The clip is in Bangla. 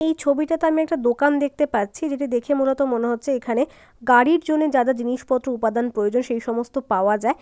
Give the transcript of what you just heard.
এই ছবিটাতে আমি একটা দোকান দেখতে পাচ্ছি। যেটি দেখে মূলত মনে হচ্ছে এখানে গাড়ির জন্য যা যা জিনিসপত্র উপাদান প্রয়োজন সেই সমস্ত পাওয়া যায়।